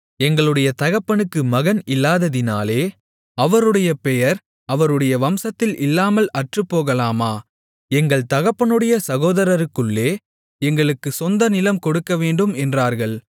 எங்களுடைய தகப்பனுக்கு மகன் இல்லாததினாலே அவருடைய பெயர் அவருடைய வம்சத்தில் இல்லாமல் அற்றுப்போகலாமா எங்கள் தகப்பனுடைய சகோதரருக்குள்ளே எங்களுக்குக் சொந்த நிலம் கொடுக்கவேண்டும் என்றார்கள்